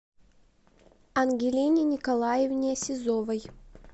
ангелине николаевне сизовой